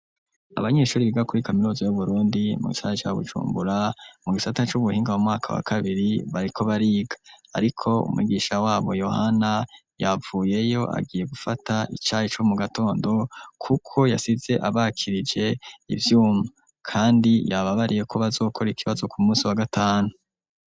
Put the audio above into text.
Abanyeshuri biga kuri Kaminuza y'uburundi mu gisara cya gucumbura mu gisata c'ubuhinga wu mwaka wa kabiri bariko bariga ariko umigisha wabo yohana yapvuyeyo agiye gufata icayi co mu gatondo kuko yasize abakirije ibyuma kandi yababariye ko bazokora ikibazo ku munsi wa gatanu.